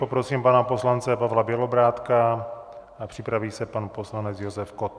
Poprosím pana poslance Pavla Bělobrádka a připraví se pan poslanec Josef Kott.